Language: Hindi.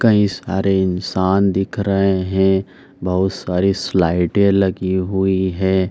कई सारे इंसान दिख रहे हैं। बहुत सारी स्लाइडें लगी हुई हैं।